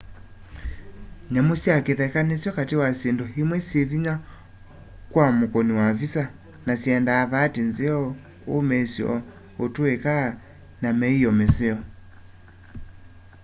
nyamu sya kitheka nisyo kati wa syindu imwe syivinya kwa mukuni wa visa na syendaa vaati nzeo umiisyo utuika na miio miseo